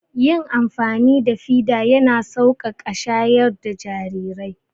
Yin amfani da fida ya na sauƙaƙa shayar da jarirai